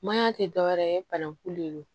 Maɲan tɛ dɔwɛrɛ ye bananku le don